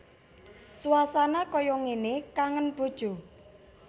Suasana kaya ngene kangen bojo